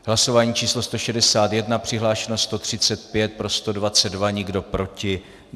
Hlasování číslo 161, přihlášeno 135, pro 122, nikdo proti.